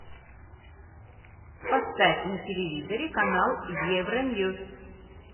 поставь на телевизоре канал евроньюс